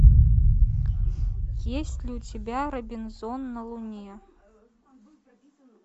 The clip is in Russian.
есть ли у тебя робинзон на луне